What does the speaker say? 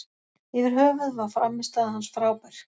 Yfir höfuð var frammistaða hans frábær.